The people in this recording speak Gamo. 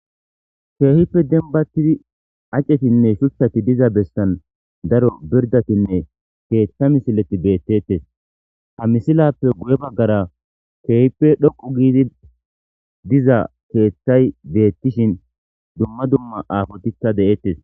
Keehippe denbattidi acetinne shuthati diza bessan daro pirdatinne keeththa misileti beettettes ha misilappe guye baggara keehippe dhoqu giidi diza keeththay beettishin dumma dumma aafotikka deettes.